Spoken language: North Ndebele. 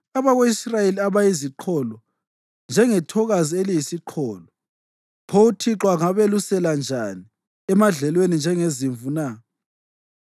Abako-Israyeli bayiziqholo, njengethokazi eliyisiqholo. Pho uThixo angabelusela njani emadlelweni njengezimvu na?